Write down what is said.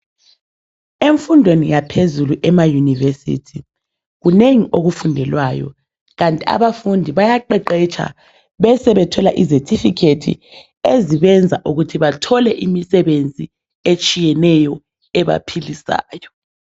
Emfundweni yaphezuzlu ema university kunengi okufundelwayo kanti abafundi bayaqeqetsha besebe thola izethifikhethi ezibenza ukuthi bathole imisebenzi etshiyeneyo ebaphilisayo.